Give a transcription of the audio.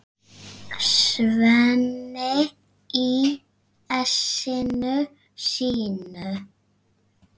Svenni í essinu sínu.